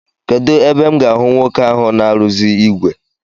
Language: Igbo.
Kedụ ebe m ga-ahụ nwoke ahụ na-arụzi ìgwè?